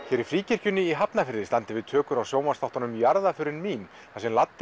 hér í Fríkirkjunni í Hafnarfirði standa yfir tökur á sjónvarpsþáttunum jarðarförin mín þar sem